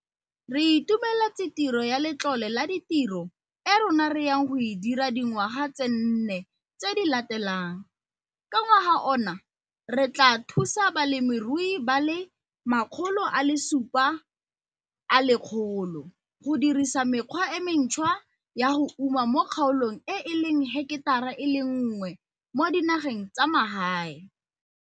Re itumeletse tiro ya Letlole la Ditiro e rona re yang go e dira dingwga tse nne tse di latelang ka ngwaga ona re tlaa thusa balemirui ba le 1 700 go dirisa mekgwa e mentshwa ya go uma mo kgaolong e e leng heketara e le 1 mo dinageng tsa magae.